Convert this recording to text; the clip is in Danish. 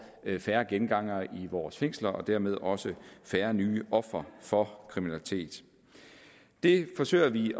færre gengangere i vores fængsler og dermed også færre nye ofre for kriminalitet det forsøger vi